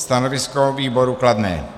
Stanovisko výboru kladné.